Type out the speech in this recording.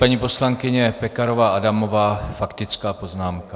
Paní poslankyně Pekarová Adamová, faktická poznámka.